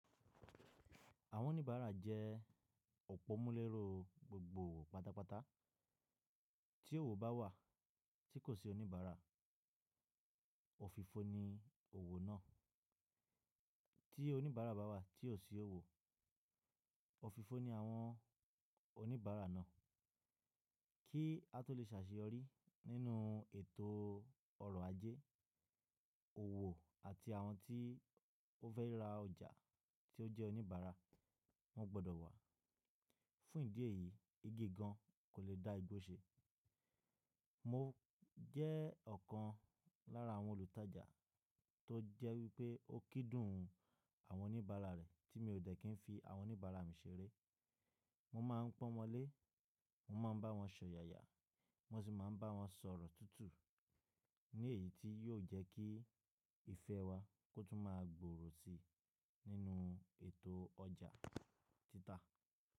Àwọn oníbàárà jẹ́ òpómúléró gbogbo owo pàtàpàtà. Tí òwò bá wà tí kò sí oníbàárà, òfìfo ni òwò náà. Tí oníbàárà bá wà tí ò sí owó, òfìfo ni àwọn oníbàárà náà. Kí a tó lè sàsìyọrí nínú ètò ọrọ̀ ajé, òwò àti àwọn tí o fẹ́ rí ra ọjà tí ó jẹ́ oníbàárà, wọ́n gbọdọ̀ wà. Fún ìdí èyí, igi gan kò lè dá igbó ṣe. Mo jẹ́ ọ̀kan lára àwọn olùtajà tó jẹ́ wípé ó kídùn àwọn oníbàárà rẹ̀ tí mi ò dẹ̀ kí n fi àwọn oníbàárà mi ṣeré. Mo máa ń pọ́n wọn lé, mo má a ń bá wọn ṣọ̀yàya, mo sì máa ń bá wọn sọ̀rọ̀ tútù ni èyí tí yóò jẹ́ kí ìfẹ́ wa kó tún má a gboòrò si nínú ètò ọjà títà.